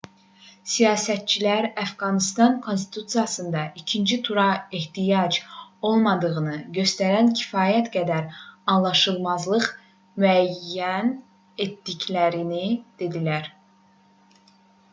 siyasətçilər əfqanıstan konstitusiyasında ikinci tura ehtiyac olmadığını göstərən kifayət qədər anlaşılmazlıq müəyyən etdiklərini dedilər